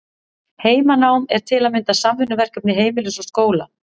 Heimanám er til að mynda samvinnuverkefni heimilis og skóla.